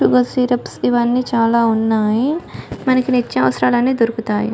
Sugar syrups ఇవన్నీ చాలా ఉన్నాయి మనకి నిత్య అవసరాలన్నీ దొరుకుతాయి.